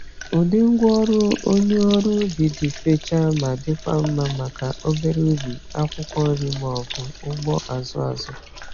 Ụdị ngwá ọrụ onye ọrụ ubi dị fechaa ma dịkwa mma maka obere ubi akwụkwọ nri ma ọ bụ ugbo azụ azụ.